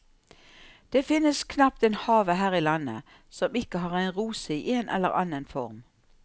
Det finnes knapt en have her i landet som ikke har en rose i en eller annen form.